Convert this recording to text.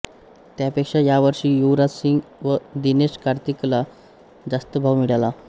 त्यापेक्षा यावर्षी युवराजसिंग व दिनेश कार्तिकला जास्त भाव मिळाला